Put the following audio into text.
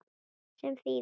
Sem þýðir?